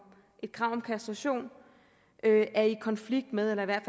et krav om kastration er i konflikt med eller i hvert